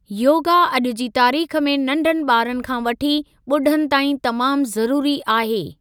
योगा अॼु जी तारीख़ में नंढनि ॿारनि खां वठी ॿुढनि ताईं तमामु ज़रूरी आहे।